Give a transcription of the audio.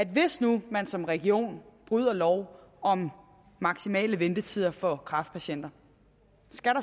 hvis nu man som region bryder loven om maksimale ventetider for kræftpatienter